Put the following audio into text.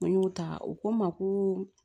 N y'o ta u ko n ma ko